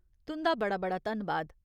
तुं'दा बड़ा बड़ा धन्नबाद !